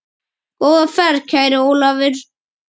Góða ferð, kæri Ólafur.